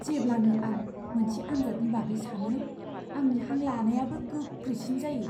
जेब्लानो आं मोनसे आनजादनि बागै सानो, आंनि हां लानायाबो गोख्रैसिन जायो।